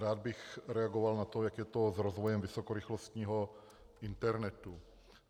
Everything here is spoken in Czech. Rád bych reagoval na to, jak je to s rozvojem vysokorychlostního internetu.